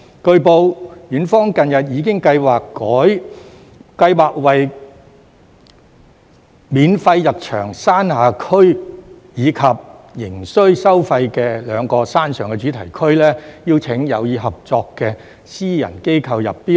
據報，園方近日已經計劃為免費入場的山下區，以及仍須收費的兩個山上的主題區，邀請有意合作的私人機構入標。